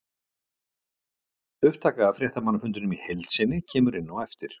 Upptaka af fréttamannafundinum í heild sinni kemur inn á eftir.